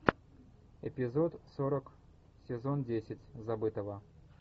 эпизод сорок сезон десять забытого